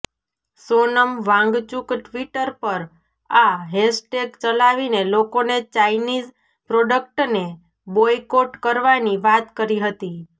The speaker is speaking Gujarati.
સોનમ વાંગચુક ટ્વીટર પર આ હેશટેગ ચલાવીને લોકોને ચાઇનીઝ પ્રોડક્ટને બોયકોટ કરવાની વાત કરી હતી